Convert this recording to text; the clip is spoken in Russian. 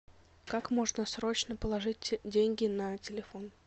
как можно срочно положить деньги на телефон